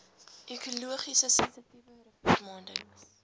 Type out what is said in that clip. ekologies sensitiewe riviermondings